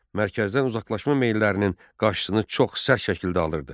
Mərkəzdən uzaqlaşma meyillərinin qarşısını çox sərt şəkildə alırdı.